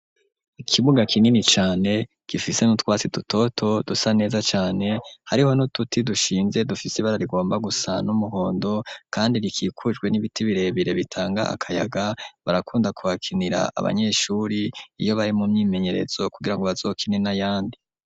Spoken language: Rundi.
Ikibuga kinini cane gifise n'utwatsi dutoto dusa neza cane hariho n'uduti dushinze dufise ibara rigomba gusa n'umuhondo kandi rikikujwe n'ibiti birebire bitanga akayaga barakunda ku hakinira abanyeshuri iyo bari mu myimenyerezo kugirango bazokine n'ayandi.